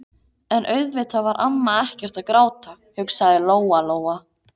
En auðvitað var amma ekkert að gráta, hugsaði Lóa-Lóa.